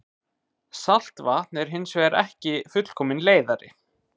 Saltvatn er hins vegar ekki fullkominn leiðari.